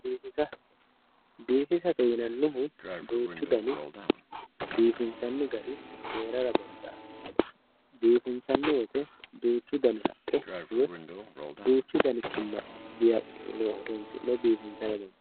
biifisa, biifisate yinannihu duuchu dani biifinsanni gari hee'rara dandaanno, biifinsannni woyte duuchu dani haqqe woy duuchu dani kinna horonsi'ne biifisa dandiinanni.